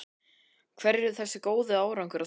Hverju er þessi góði árangur að þakka?